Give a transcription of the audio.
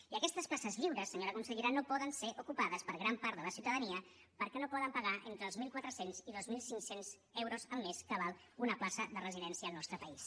i aquestes places lliures senyora consellera no poden ser ocupades per gran part de la ciutadania perquè no poden pagar entre els mil quatre cents i dos mil cinc cents euros al mes que val una plaça de residència al nostre país